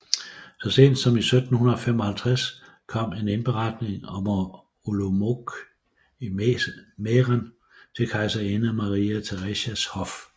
Så sent som 1755 kom en indberetning fra Olomouc i Mæhren til kejserinde Maria Theresias hof